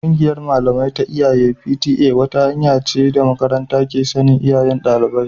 Kungiyar malamai ta iyaye (P.T.A) wata hanya ce da makaranta ke sanin iyayen dalibai